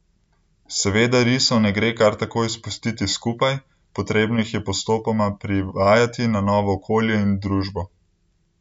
Seveda risov ne gre kar takoj spustiti skupaj, potrebno jih je postopoma privajati na novo okolje in družbo.